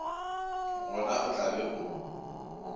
gona o tla be o